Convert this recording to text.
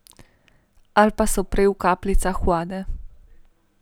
Ali pa so prej v kapljicah vode?